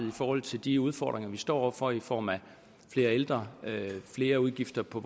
i forhold til de udfordringer vi står over for i form af flere ældre flere udgifter på